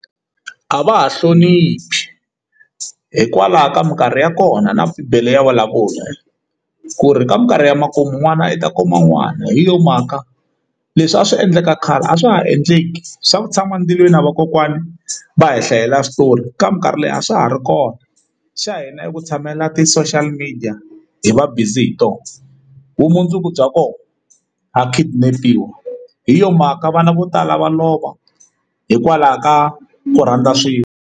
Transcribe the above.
A va ha hloniphi hikwalaho ka minkarhi ya kona na bibele ya vulavula ku ri ka minkarhi ya makumu n'wana u ta kuma n'wana hi yo mhaka leswi a swi endleka khale a swa ha endleki swa ku tshama endzilweni a vakokwana va hi hlayela switori ka minkarhi leyi a swa ha ri kona xa hina i ku tshamela ti-social media hi va busy hi tona vumundzuku bya kona ha kidnap iwa hi yo mhaka vana vo tala va lova hikwalaho ka ku rhandza swilo.